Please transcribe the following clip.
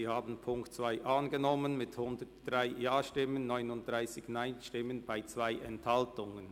Sie haben die Ziffer 2 angenommen mit 103 Ja- gegen 39 Nein-Stimmen bei 2 Enthaltungen.